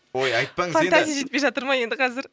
ой айтпаңыз енді фантазия жетпей жатыр ма енді қазір